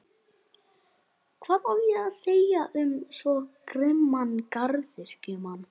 Hvað á að segja um svo grimman garðyrkjumann?